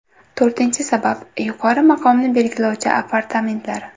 To‘rtinchi sabab: yuqori maqomni belgilovchi apartamentlar.